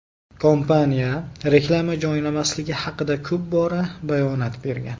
Kompaniya reklama joylamasligi haqida ko‘p bora bayonot bergan.